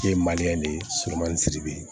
E ye de ye surumanin siri